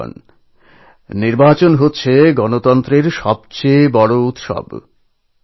বন্ধুগণ নির্বাচন গণতন্ত্রের সব থেকে বড় উৎসব